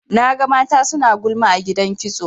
Naga mata suna gulma a gidan kitso.